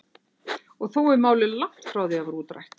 Og þó er málið langt frá því útrætt.